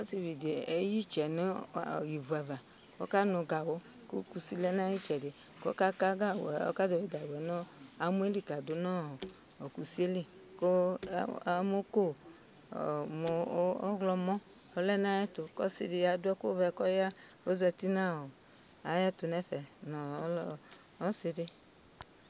Ɔsɩ dɩ eyǝ ɩtsɛ nʋ ivu ava ,k'ɔkanʋ gawʋ Kʋ kusi lɛ n'ayitsɛdɩ K'ɔka ka gawʋ yɛ , ɔka zɛvɩ gawʋ yɛ n'amɔ yǝ li kadʋ nʋ kusie li Kʋ amɔko ɔɔ mʋ ɔɣlɔmɔ lɛ nʋ n'ayɛtʋ Ɔsi dɩ adʋ ɛkʋvɛ k'ɔya ,ozati n'ayɛtʋ n'ɛfɛ nʋ ɔsɩ dɩ